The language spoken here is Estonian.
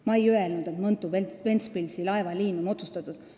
Ma ei öelnud, et Mõntu–Ventspilsi laevaliin on otsustatud.